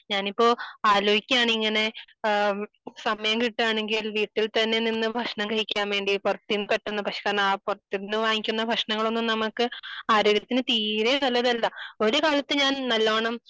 ഞാൻ ഇപ്പൊ ആലോചിക്കുകയാണ് ഇങ്ങനെ സമയം കിട്ടുകയാണെങ്കിൽ വീട്ടിൽ തന്നെ നിന്ന് ഭക്ഷണം കഴിക്കാൻ വേണ്ടി പുറത്തു നിന്ന് പെട്ടെന്ന് ഭക്ഷണം പുറത്തു നിന്ന് വാങ്ങിക്കുന്ന ഭക്ഷണങ്ങൾ ഒന്നും നമ്മക്ക് ആരോഗ്യത്തിന് തീരെ നല്ലതല്ല . ഒരുകാലത്തു ഞാൻ നല്ലോണം